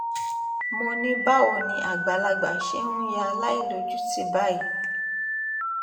mo ní báwo ni àgbàlagbà ṣe ń ya aláìlójútì báyìí